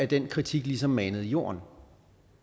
den kritik ligesom manet i jorden